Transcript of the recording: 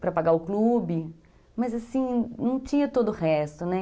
para pagar o clube, mas assim, não tinha todo o resto, né?